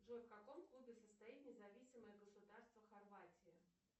джой в каком клубе состоит независимое государство хорватия